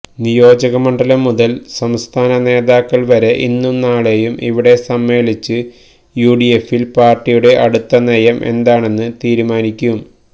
നിയോജകമണ്ഡലം മുതല് സംസ്ഥാന നേതാക്കള് വരെ ഇന്നും നാളെയും ഇവിടെ സമ്മേളിച്ച് യുഡിഎഫില് പാര്ട്ടിയുടെ അടുത്ത നയം എന്താണെന്ന് തീരുമാനിക്കും